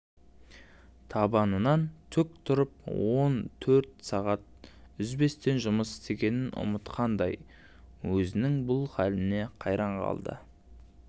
табанынан тік тұрып он төрт сағат үзбестен жұмыс істегенін ұмытқандай өзінің бұл халіне қайран қалд